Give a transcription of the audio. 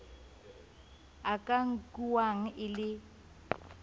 a ka nkuwang e le